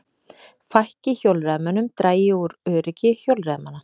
Fækki hjólreiðamönnum dragi úr öryggi hjólreiðamanna